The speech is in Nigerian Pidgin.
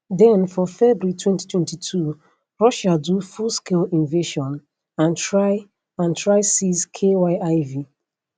den for february 2022 russia do fullscale invasion and try and try seize kyiv